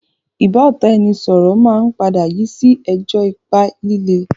ìbáọ̀tàẹnisọọ̀rọ̀ máa ń padà yii si ẹjọ́ ipá lílé